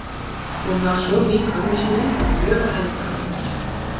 Hún var svo lík ömmu sinni og mjög hænd að henni.